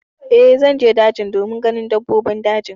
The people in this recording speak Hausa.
Eh, zan je daji domin ganin dabbobin daji.